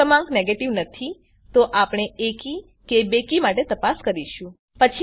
જો ક્રમાંક નેગેટીવ નથી તો આપણે એકી કે બેકી માટે તપાસ કરીશું